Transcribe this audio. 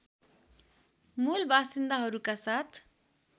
मूल बासिन्दाहरूका साथ